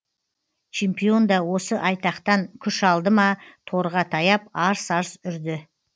чемпион да осы айтақтан күш алды ма торға таяп арс арс үрді